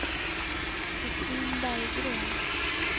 Kristin Berggren